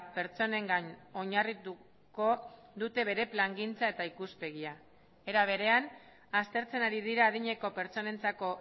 pertsonengan oinarrituko dute bere plangintza eta ikuspegia era berean aztertzen ari dira adineko pertsonentzako